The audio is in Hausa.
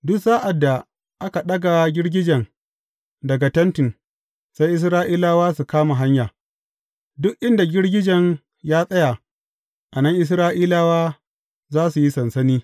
Duk sa’ad da aka ɗaga girgijen daga Tentin, sai Isra’ilawa su kama hanya; duk inda girgijen ya tsaya, a nan Isra’ilawa za su yi sansani.